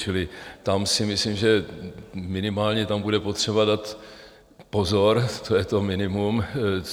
Čili tam si myslím, že minimálně tam bude potřeba dát pozor, to je to minimum.